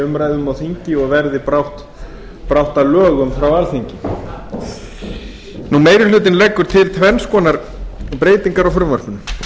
umræðum á þingi og verði brátt að lögum frá alþingi meiri hlutinn leggur til tvenns konar breytingar á frumvarpinu